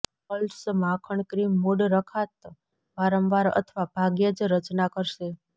curls માખણ cream mood રખાત વારંવાર અથવા ભાગ્યે જ રચના કરશે